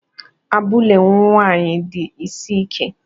Abụlé nwanyị di isi ike!